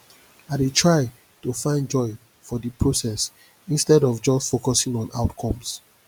i dey try to find joy for di process instead of just focusing on outcomes